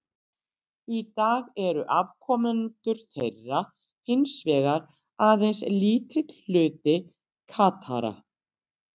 Í dag eru afkomendur þeirra hins vegar aðeins lítill hluti Katara.